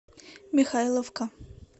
михайловка